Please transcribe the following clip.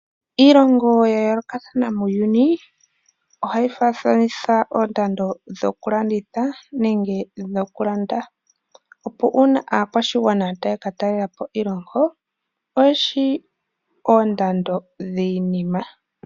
Iilongo ya yoolokathana muuyuni, ohayi faathanitha oondando dhokulanditha nenge dhokulanda, opo uuna aakwashigwana taya ka talela po kiilongo oye shi oondando dhiinima.